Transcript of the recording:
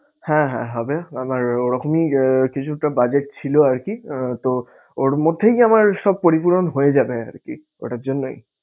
হ্যাঁ হ্যাঁ হবে আমার ওরকমই আঁ কিছুটা budget ছিল আরকি আহ তো ওর মধ্যেই আমার সব পরিপূরণ হয়ে যাবে আরকি। ওটার জন্যই